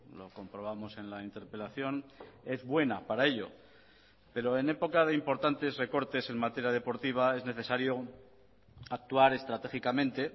lo comprobamos en la interpelación es buena para ello pero en época de importantes recortes en materia deportiva es necesario actuar estratégicamente